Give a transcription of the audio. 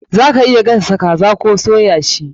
Za ka iya gasa kaza koh soya shi.